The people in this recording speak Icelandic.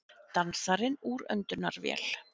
Dansarinn úr öndunarvél